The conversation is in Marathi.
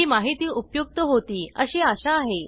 ही माहिती उपयुक्त होती अशी आशा आहे